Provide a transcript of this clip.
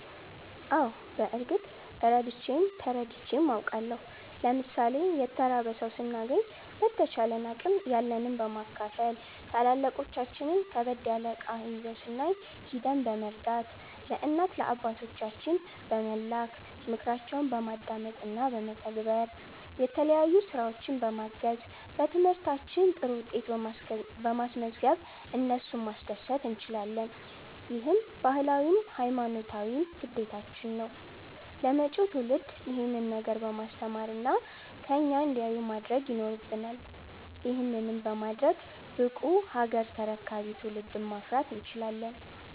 አዎ በርግጥ ረድቼም ተረድቼም አቃለሁ። ለምሣሌ የተራበ ሠው ስናገኝ በተቻለን አቅም ያለንን በማካፈል፣ ታላላቆቻችን ከበድ ያለ እቃ ይዘው ስናይ ሂደን በመርዳት፣ ለእናት ለአባቶቻችን በመላክ፣ ምክራቸውን በማዳመጥ እና በመተግበር፣ የተለያዩ ስራዎች በማገዝ፣ በትምህርታችን ጥሩ ውጤት በማስዝገብ እነሱን ማስደሰት እንችላለን። ይህም ባህላዊም ሀይማኖታዊም ግዴታችን ነው። ለመጪው ትውልድ ይሄንን ነገር በማስተማር እና ከኛ እንዲያዩ ማድረግ ይኖረብናል። ይህንንም በማድረግ ብቁ ሀገር ተረካቢ ትውልድን ማፍራት እንችላለን።